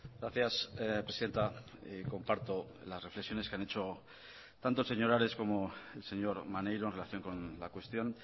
gracias presidenta comparto las reflexiones que han hecho tanto señor ares como el señor maneiro en relación con la cuestión